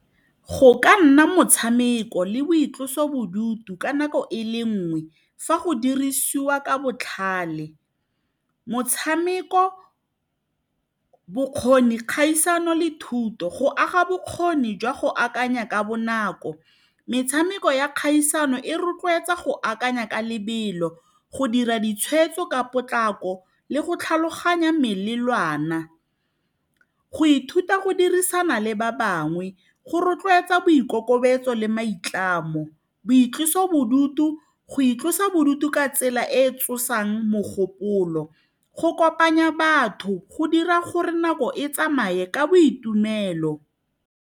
Go ka nna motshameko le boitlosobodutu ka nako e le nngwe fa go dirisiwa ka botlhale. Motshameko, bokgoni, kgaisano le thuto go aga bokgoni jwa go akanya ka bonako. Metshameko ya kgaisano e rotloetsa go akanya ka lebelo, go dira ditshwetso ka potlako le go tlhaloganya melelwana, go ithuta go dirisana le ba bangwe, go rotloetsa boikokobetso le maitlamo. Boitlosobodutu, go itlosa bodutu ka tsela e e tsosang mogopolo, go kopanya batho, go dira gore nako e tsamaye ka boitumelo.